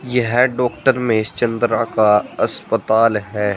यह डॉक्टर महेश चंद्रा का अस्पताल है।